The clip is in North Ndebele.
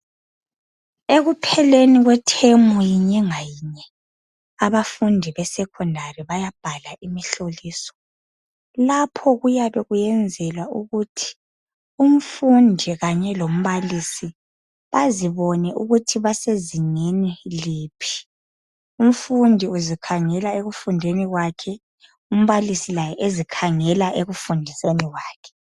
Ekupheleni kwethemu yinye ngayinye abafundi besekondari bayabhala imihloliso. Lapho kuyabe kuyenzelwa ukuthi umfundi khanye lombalisi bazibone ukuthi basezingeni liphi. Umfundi uzikhangela ekufundeni kwakhe, umbalisi laye ezikhangela ekufundiseni kwakhe.